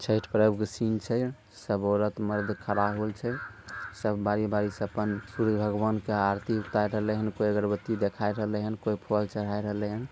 छठ प्रभु के सीन छे| सब औरत मर्द खड़ा होई छे| सब बारी बारी से आपन सूरज भगवान् के आरती उतारलेहन कोई अगरबत्ती दिखाए रहलेहन कोई फल चढ़ा रलेहन।